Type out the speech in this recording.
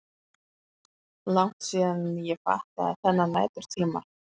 Langt síðan ég fattaði þennan næturtíma.